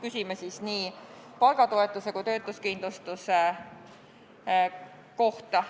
Küsime nii palgatoetuse kui ka töötuskindlustuse kohta.